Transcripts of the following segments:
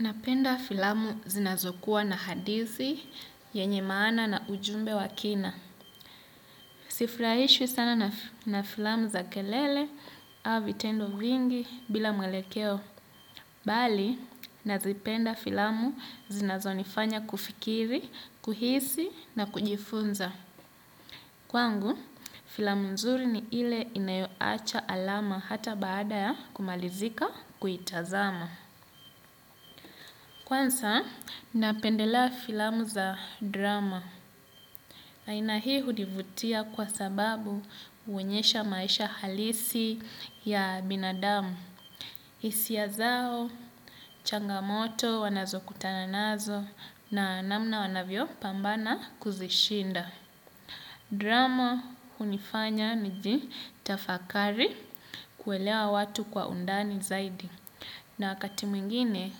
Napenda filamu zinazokuwa na hadizi, yenye maana na ujumbe wa kina. Sifraishwi sana na filamu za kelele au vitendo vingi bila mwelekeo. Bali, nazipenda filamu zinazonifanya kufikiri, kuhisi na kujifunza. Kwangu, filamu nzuri ni ile inayoacha alama hata baada ya kumalizika kuitazama. Kwansa, napendelea filamu za drama. Aina hii hunivutia kwa sababu uonyesha maisha halisi ya binadamu. Isia zao, changamoto, wanazokutana nazo na namna wanavyo pambana kuzishinda. Drama hunifanya nijitafakari kuelea watu kwa undani zaidi. Na wakati mwingine,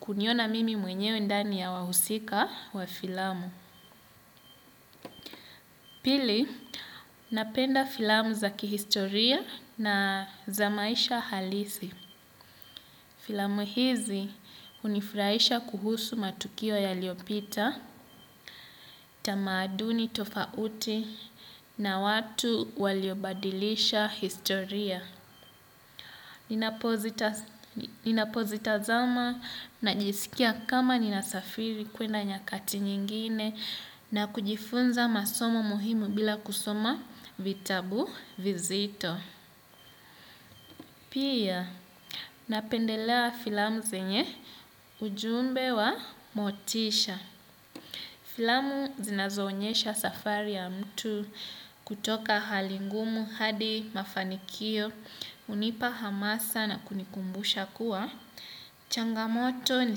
kuniona mimi mwenyewe ndani ya wahusika wa filamu. Pili, napenda filamu za kihistoria na za maisha halisi. Filamu hizi, hunifraisha kuhusu matukio yaliopita, tamaduni tofauti na watu waliobadilisha historia. Ninapozitazama najisikia kama ninasafiri kwenda nyakati nyingine na kujifunza masomo muhimu bila kusoma vitabu vizito. Pia napendelea filamu senye ujumbe wa motisha. Filamu zinazoonyesha safari ya mtu kutoka hali ngumu hadi mafanikio hunipa hamasa na kunikumbusha kuwa. Changamoto ni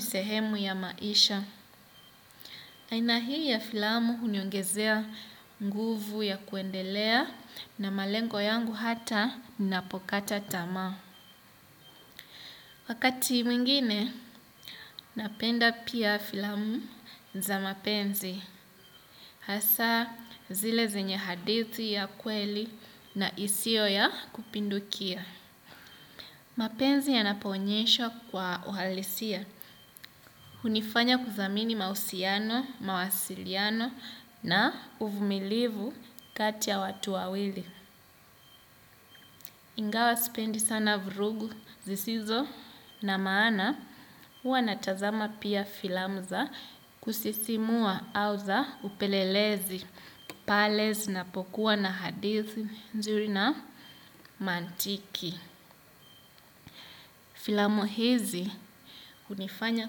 sehemu ya maisha. Aina hii ya filamu huniongezea nguvu ya kuendelea na malengo yangu hata ninapokata tamaa. Wakati mwingine napenda pia filamu za mapenzi. Hasaa zile zenye hadithi ya kweli na isio ya kupindukia. Mapenzi yanapo onyeshwa kwa uhalisia. Hunifanya kuzamini mausiano, mawasiliano na uvumilivu kati ya watu wawili. Ingawa sipendi sana vrugu zisizo na maana. Huwa natazama pia filamu za kusisimua au za upelelezi pale zinapokua na hadithi nzuri na mantiki. Filamu hizi unifanya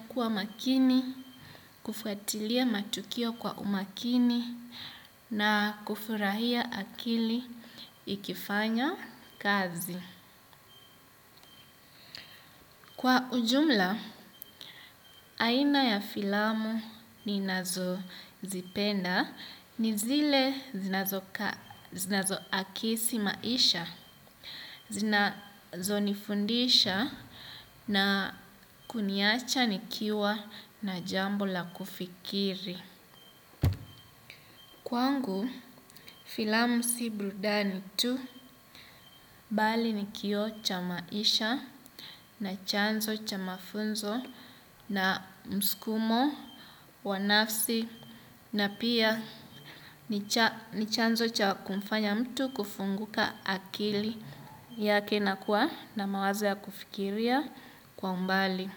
kuwa makini, kufuatilia matukio kwa umakini na kufurahia akili ikifanya kazi. Kwa ujumla, aina ya filamu ninazozipenda ni zile zinazo akisi maisha, zinazo nifundisha na kuniacha nikiwa na jambo la kufikiri. Kwangu filamu si brudani tu bali ni kioo cha maisha na chanzo cha mafunzo na mskumo wa nafsi na pia ni chanzo cha kumfanya mtu kufunguka akili yake na kuwa na mawazo ya kufikiria kwa umbali.